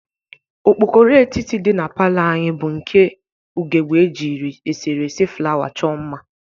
Okpokoro etiti dị na palọ anyị bụ nke ughebe e jiri eserese flawa chọ mma.